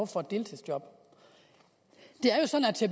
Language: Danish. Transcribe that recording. for et deltidsjob det